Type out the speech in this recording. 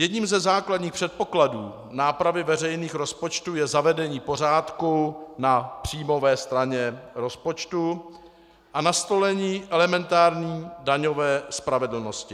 Jedním ze základních předpokladů nápravy veřejných rozpočtů je zavedení pořádku na příjmové straně rozpočtu a nastolení elementární daňové spravedlnosti.